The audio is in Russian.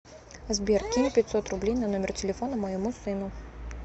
сбер кинь пятьсот рублей на номер телефона моему сыну